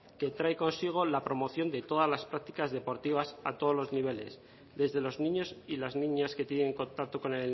que trae consigo la promoción de todas las prácticas deportivas para todos los niveles desde los niños y las niñas que tienen contacto con